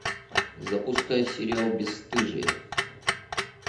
запускай сериал бесстыжие